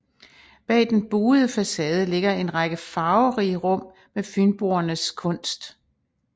Bag den buede facade ligger en række farverige rum med Fynboernes kunst